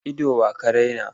Ido wa ka raina?